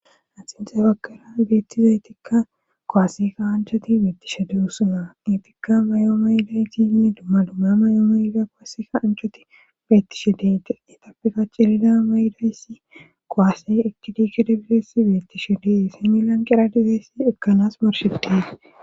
axinxe bakkara beettizaytikka kuwase kasanchoati beettishe de'osona etikka may7o mayidayti inne dumma dumma may7o mayda qaseka ancoti beettishe deeti etappeka cilida maydayssi koasey etidikeda bilesi beettishe dee similan qeradizaysi ekkanas morshedee